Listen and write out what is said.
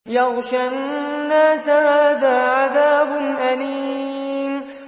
يَغْشَى النَّاسَ ۖ هَٰذَا عَذَابٌ أَلِيمٌ